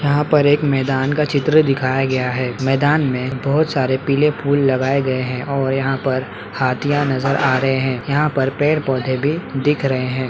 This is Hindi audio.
यहाँ पर एक मैदान का चित्र दिखाया गया है मैदान में बहुत सारे पीले फूल लगाये गए हैंऔर यहाँ पर हाथियाँ नजर आ रहे हैं यहाँ पर पेड़-पौधे भी दिख रहे हैं।